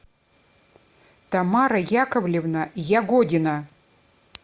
тамара яковлевна ягодина